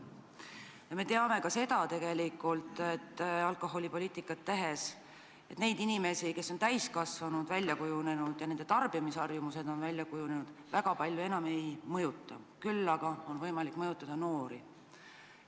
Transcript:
Ja me teame ju alkoholipoliitikat tehes, et täiskasvanud, väljakujunenud tarbimisharjumustega inimesi palju enam ei mõjuta, küll aga on võimalik mõjutada noori.